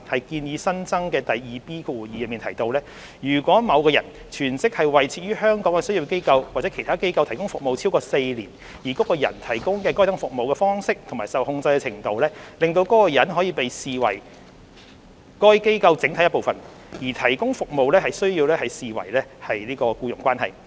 建議新增的第 2B2 條提到，如果某人全職為設於香港的商業機構或其他機構提供服務超過4年，而該人提供該等服務的方式及受控制的程度，使該人可被合理視為該機構整體的一部分，則提供服務須視為僱傭關係。